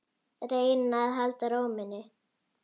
Reyna að halda ró minni.